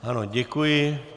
Ano, děkuji.